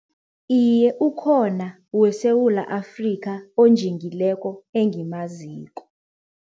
Iye ukhona weSewula Afrika onjingileko engimaziko.